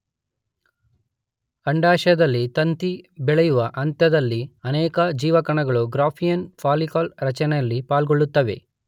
ಅಂಡಾಶಯದಲ್ಲಿ ತತ್ತಿ ಬೆಳೆಯುವ ಹಂತದಲ್ಲಿ ಅನೇಕ ಜೀವಕಣಗಳು ಗ್ರಾಫಿಯನ್ ಫಾಲಿಕಲ್ ರಚನೆಯಲ್ಲಿ ಪಾಲ್ಗೊಳ್ಳುತ್ತವೆ.